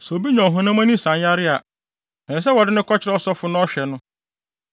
“Sɛ obi nya ɔhonam ani nsanyare a, ɛsɛ sɛ wɔde no kɔkyerɛ ɔsɔfo na ɔhwɛ no.